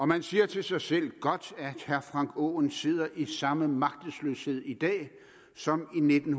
man siger til sig selv godt at herre frank aaen sidder i samme magtesløshed i dag som i nitten